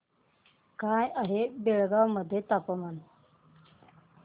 काय आहे बेळगाव मध्ये तापमान